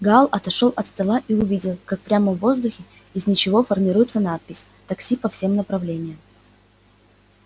гаал отошёл от стола и увидел как прямо в воздухе из ничего формируется надпись такси по всем направления